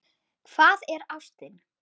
Hvað er ástin?